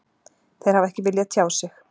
Þeir hafa ekki viljað tjá sig